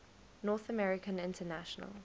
north american international